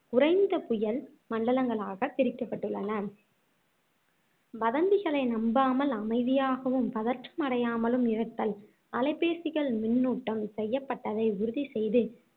குறைந்த புயல் மண்டலங்களாகப் பிரிக்கப்பட்டுள்ளன வதந்திகளை நம்பாமல் அமைதியாகவும் பதற்றமடையாமலும் இருத்தல் அலைபேசிகள் மின்னூட்டம் செய்யப்பட்டதை உறுதி செய்து